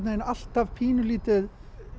alltaf pínulítið